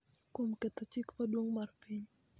kuom ketho chik maduong� mar piny.